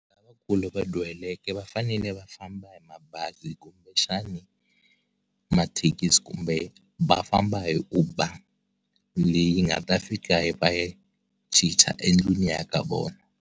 Lavakulu lava dyuhaleke va fanele va famba hi mabazi kumbe xana mathekisi kumbe va famba hi Uber leyi nga ta fika yi va chicha endlwini ya ka vona.